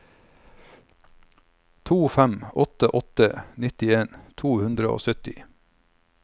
to fem åtte åtte nittien to hundre og sytti